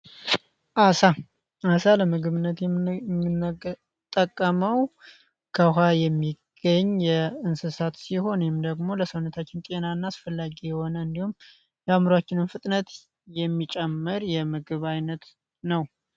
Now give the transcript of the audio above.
አሳ አሳ ለምግብነት የምንጠቀመው ከውኋ የሚገኝ የእንስሳት ሲሆን የም ደግሞ ለሰውነታችን ጤና እና አስፈላጊ የሆነ እንዲሁም የአምሯችንም ፍጥነት የሚጨመር የምግብ አይነት ነው፡፡